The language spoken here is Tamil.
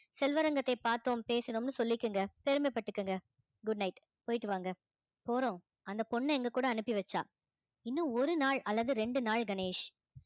செல்வரங்கத்தைப் பார்த்தோம் பேசணும்னு சொல்லிக்கங்க பெருமைப்பட்டுக்கங்க good night போயிட்டு வாங்க போறோம் அந்த பொண்ண எங்க கூட அனுப்பி வச்சா இன்னும் ஒரு நாள் அல்லது ரெண்டு நாள் கணேஷ்